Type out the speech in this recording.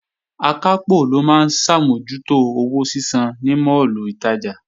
Akápò ló máa ń ṣàmójútó owó sísan ní máàlù ìtajà